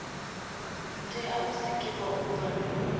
tea u sikwa u bva